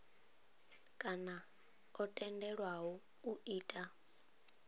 kana o tendelwaho u ita